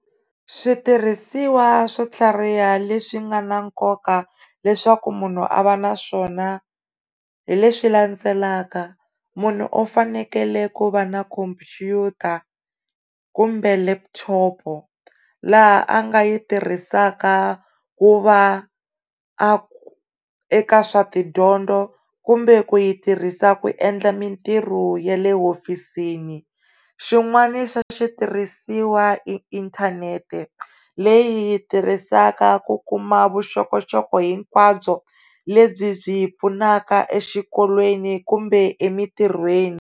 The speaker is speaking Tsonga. Switirhisiwa swo tlhariha leswi nga na nkoka leswaku munhu a va naswona hi leswi landzelaka, munhu u fanekele ku va na khompyuta kumbe leputhopo laha a nga yi tirhisaka ku va eka swa tidyondzo kumbe ku yi tirhisiwaku endla mitirho ya le hofisini xin'wani xa switirhisiwa i inthanete leyi hi tirhisaka ku kuma vuxokoxoko hinkwabyo lebyi byi pfunaka exikolweni kumbe emintirhweni.